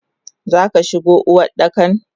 Zaka shigo Uwardakan?